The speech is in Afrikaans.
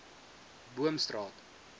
boomstraat